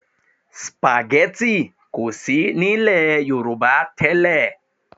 Spaghetti kò sí ní ilẹ̀ Yorùbá tẹ́lẹ̀